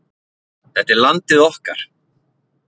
Þetta er landið okkar